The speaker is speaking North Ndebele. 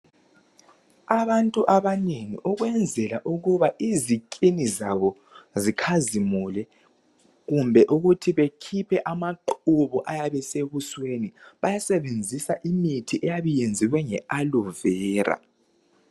Abantu abanengi ukwenzela ukuba iziskin zabo zikhazimule kumbe ukuthi bekhiphe amaqubu ayabe esebusweni bayasebenzisa imithi eyabe iyenziwe nge aloe vera.